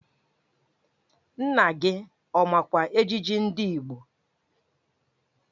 Nna gị ọ makwa ejiji ndị Igbo?